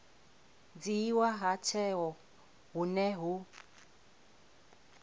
dzhiiwa ha tsheo hune hu